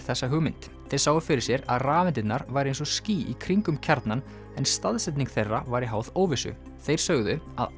Schrödinger þessa hugmynd þeir sáu fyrir sér að rafeindirnar væru eins og ský í kringum kjarnann en staðsetning þeirra væri háð óvissu þeir sögðu